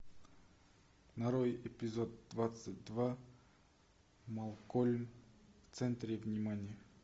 нарой эпизод двадцать два малкольм в центре внимания